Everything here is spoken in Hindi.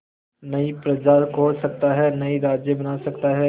नई प्रजा खोज सकता है नए राज्य बना सकता है